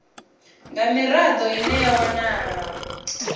nga mirado ine ya wanala